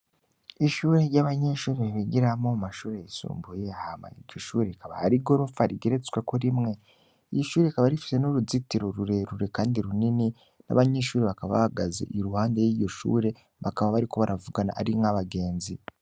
Ishure ry'abanyinshuri ibigiramo mashure yisumbuye ahamanyika ishure rikaba harigorupfa rigeretsweku rimwe iyo shure ikaba rifise n'uruzitiro rurerure, kandi runini n'abanyishuri bakabagaze i ruhande y'iyoshure bakaba bariko baravugana arinko abagenzi.